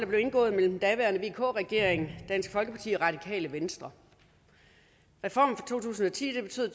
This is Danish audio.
blev indgået mellem den daværende vk regering dansk folkeparti og radikale venstre reformen fra to tusind og ti betød